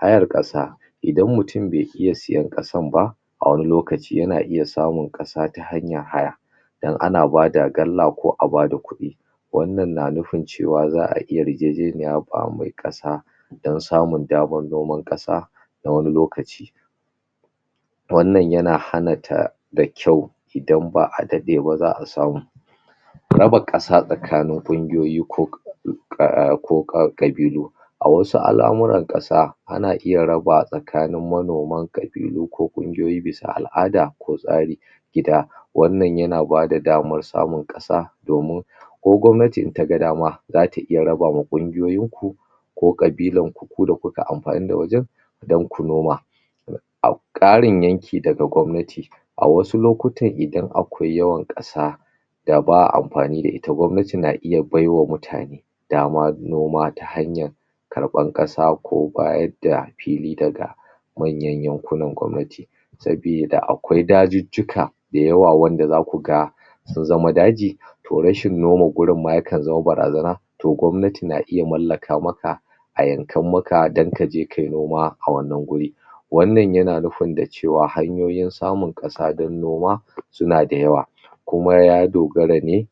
hayar ƙasa idan mutun be iya siyan ƙasan ba a wani lokaci yana iya samun ƙasa ta hanyan haya dan ana bada galla ko abada kuɗi wannan na nufin cewa za'a yarjejeniya fa mai ƙasa dan samun daman noman ƙasa na wani lokaci wannan yana hana ta da kyau idan ba'a daɗeba za'a samu raba ƙasa tsakanin ƙungiyoyi ko um ko ƙabilu a wasu alamuran ƙasa ana iya raba tsakani manoman ƙabilu ko kungiyoyi bisa al'ada ko tsari gida wannan yana bada daman samun ƙasa domin ko gwamnati intaga dama zata iya rabama ƙungiyoyin ku ko ƙabila ku da kuka anfani da wajan dan ku noma a ƙarin yanki daga gawmnati awasu lokutan idan akwai yawan ƙasa da ba'a anfani da ita gwamnati na iya baiwa mutane daman noma ta hanyan karɓan ƙasa ko bayadda da fili daga manyan yankuna gwamnati sabida akwai dajijjika da yawa wanda zakuga sunzama daji to rashin noma guri ma yakan zama barazana to gwamnati na iya mallaka maka ayankan maka dan kaje kayi noma a wannan wuri wannan yana nufin dacewa hanyoyin samun ƙasa dan noma suna da yawa kuma ya dogara ne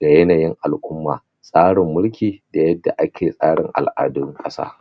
da yanayin al'umma tsarin milki da yanda ake tsarin al'adun ƙasa